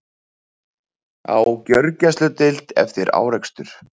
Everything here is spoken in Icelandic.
Á gjörgæsludeild eftir árekstur